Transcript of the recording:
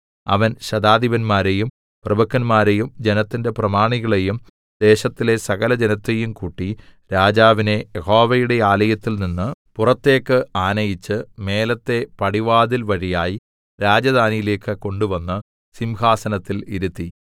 അവൻ ശതാധിപന്മാരെയും പ്രഭുക്കന്മാരെയും ജനത്തിന്റെ പ്രമാണികളെയും ദേശത്തിലെ സകലജനത്തെയും കൂട്ടി രാജാവിനെ യഹോവയുടെ ആലയത്തിൽനിന്ന് പുറത്തേക്ക് ആനയിച്ച് മേലത്തെ പടിവാതിൽ വഴിയായി രാജധാനിയിലേക്ക് കൊണ്ടുവന്ന് സിംഹാസനത്തിൽ ഇരുത്തി